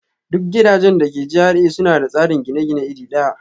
Duk gidajen da ke GRA suna da tsarin gine-gine iri ɗaya